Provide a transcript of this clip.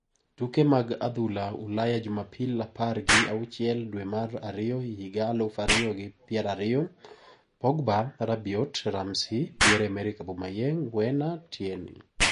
Tuke mag adhula Ulaya Jumapil apar gi auchiel dwe mar ariyo higa aluf ariyo gi pier ariyo: Pogba, Rabiot, Ramsey, Pierre-Emerick Aubameyang, Werner, Tierney